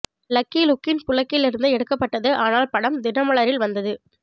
lucky லுக்கின் புளக்கில் இருந்து எடுக்கப்பட்டது ஆனால் படம் தினமலரில் வந்ததது